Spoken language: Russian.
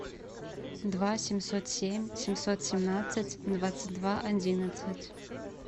два семьсот семь семьсот семнадцать двадцать два одиннадцать